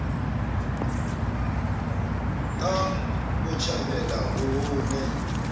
ka botjhabela ho ho ne